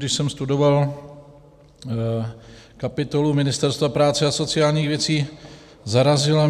Když jsem studoval kapitolu Ministerstva práce a sociálních věcí, zarazilo